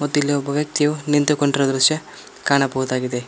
ಮತ್ತೆ ಇಲ್ಲಿ ಒಬ್ಬಯು ವ್ಯಕ್ತಿ ನಿಂತುಕೊಂಡಿರುವ ದೃಶ್ಯ ಕಾಣಬಹುದಾಗಿದೆ.